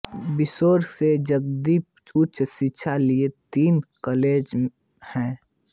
बिसौरी से नजदीक उच्च शिक्षा के लिये तीन कॉलेज हैं